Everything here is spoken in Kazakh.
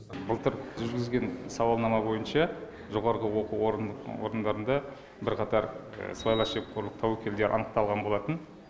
былтыр жүргізген сауалнама бойынша жоғарғы оқу орындарында бірқатар сыбайлас жемқорлық тәуекелде анықталған болатын